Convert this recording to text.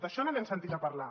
d’això no n’hem sentit a parlar